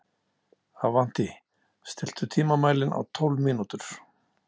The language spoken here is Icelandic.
Avantí, stilltu tímamælinn á tólf mínútur.